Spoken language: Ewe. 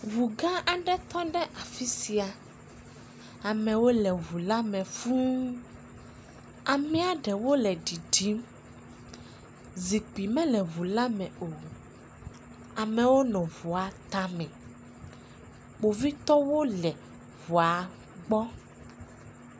Ŋu gã aɖe tɔ ɖe afi sia, amewo le ŋu la me fũu, amea ɖewo le ɖiɖim, zikpui mele ŋu la me o, amewo nɔ ŋu la tame, kpovitɔwo le ŋua kpɔm.